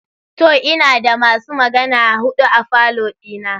To! Ina da masu magana hudu a falo dina.